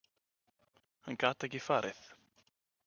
Hann gat ekki farið.